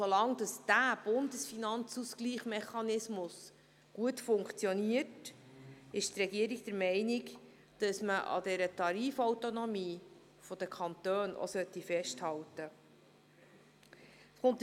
Solange der Bundesfinanzmechanismus gut funktioniert, ist die Regierung der Meinung, dass man an dieser Tarifautonomie der Kantone auch festhalten sollte.